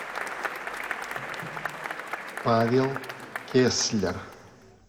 павел кеслер